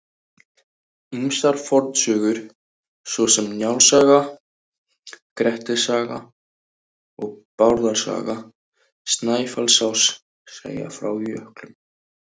Ýmsar fornsögur svo sem Njáls saga, Grettis saga og Bárðar saga Snæfellsáss segja frá jöklum.